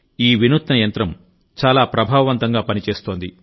ఈ వినూత్న యంత్రం చాలా ప్రభావవంతంగా పనిచేస్తోంది